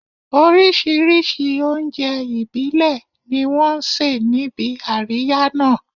Oríṣìíríṣìí oúnjẹ ìbílẹ̀ ni wọ́n ṣe níbi àríyá náà